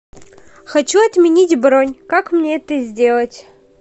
хочу отменить бронь как мне это сделать